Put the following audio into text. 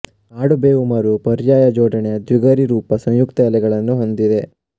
ಕಾಡು ಬೇವು ಮರವು ಪರ್ಯಾಯ ಜೋಡಣೆಯ ದ್ವಿಗರಿರೂಪಿ ಸಂಯಕ್ತ ಎಲೆಗಳನ್ನು ಹೊಂದಿದೆ